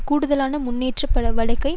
கூடுதலான முன்னேற்பாட்டு வழிவகை